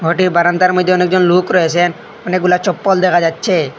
ঘরটির বারান্দার মধ্যে অনেকজন লুক রয়েসে অনেকগুলা চপ্পল দেখা যাচ্ছে।